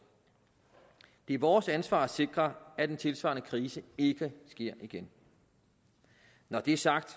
det er vores ansvar at sikre at en tilsvarende krise ikke sker igen når det er sagt